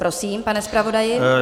Prosím, pane zpravodaji.